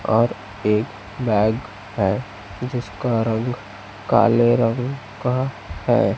और एक बैग है जिसका रंग काले रंग का है।